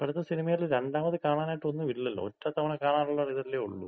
ഇപ്പോഴത്ത സിനിമയില് രണ്ടാമത് കാണാനായിട്ട് ഒന്നുമില്ലല്ലോ. ഒറ്റ തവണ കാണാനൊള്ളരിതല്ലേ ഒള്ളൂ.